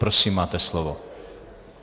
Prosím, máte slovo.